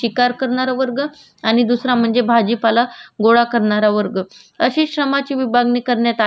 मार्चच्या काळात श्रम करणारा वर्ग आणि श्रम करून घेणारा घेणारा वर्ग अशी विभागणी होती